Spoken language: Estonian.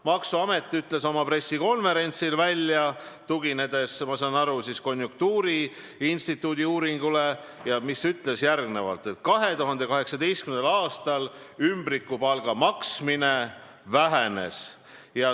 Maksuamet ütles oma pressikonverentsil, tuginedes, ma saan aru, konjunktuuriinstituudi uuringule, et 2018. aastal ümbrikupalga maksmine vähenes.